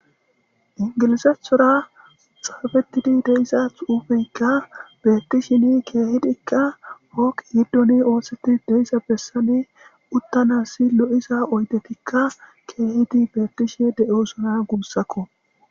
ingilizethora xaafetidi deisa xuufeykka beekkishini keehidikka hooq yiddoni oosetti deyissa bessane uttanasi lo7isa oydetikka keehidi beekkishe de7osona guussakko